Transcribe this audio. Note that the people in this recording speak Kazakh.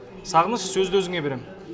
сағыныш сөзді өзіңе берем